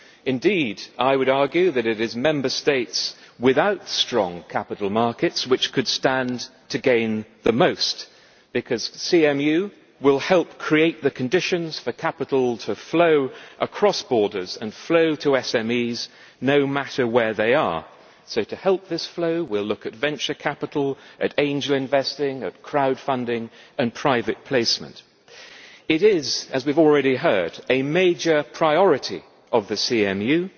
Indeed, I would argue that it is Member States without strong capital markets which could stand to gain the most, because CMU will help create the conditions for capital to flow across borders and to SMEs, no matter where they are. To help this flow, we will look at venture capital, at angel investing, at crowd funding and at private placement. It is, as we have already heard, a major priority of the CMU